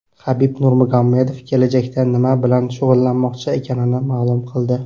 Habib Nurmagomedov kelajakda nima bilan shug‘ullanmoqchi ekanini ma’lum qildi.